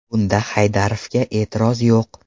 Bunda Haydarovga e’tiroz yo‘q.